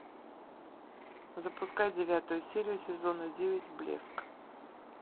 запускай девятую серию сезона девять блеск